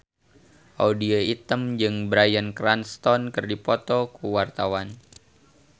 Audy Item jeung Bryan Cranston keur dipoto ku wartawan